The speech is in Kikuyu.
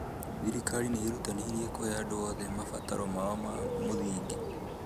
Thirikari nĩ ĩrerutanĩria kũhe andũ othe mabataro mao ma mũthingi